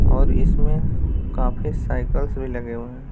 और इसमें काफी साइकल्स भी लगे हुए हैं।